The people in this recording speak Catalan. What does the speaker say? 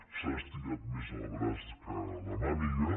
s’ha estirat més el braç que la màniga